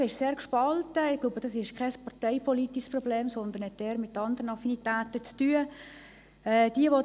Ich glaube, das ist kein parteipolitisches Problem, sondern es hat eher mit anderen Affinitäten zu tun.